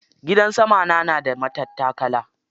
Gidan sama na da matattakala.